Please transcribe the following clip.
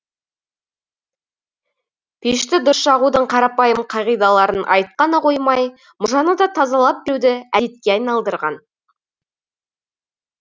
пешті дұрыс жағудың қарапайым қағидаларын айтып қана қоймай мұржаны да тазалап беруді әдетке айналдырған